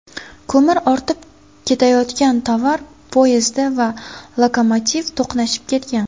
Ko‘mir ortib ketayotgan tovar poyezdi va lokomotiv to‘qnashib ketgan.